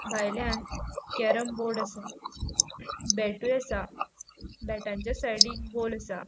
भायल्यान carrom board आसा बेटूय आसा बॅटाच्या साइडीन बॉल आसा.